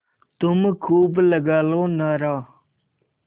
तुम खूब लगा लो नारा